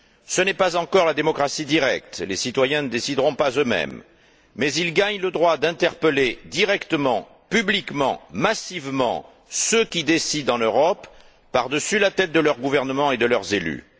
Ce n'est pas encore la démocratie directe, les citoyens ne décideront pas eux mêmes, mais ils gagnent le droit d'interpeller directement, publiquement, massivement, ceux qui décident en Europe, par dessus la tête de leur gouvernement et de leurs élus.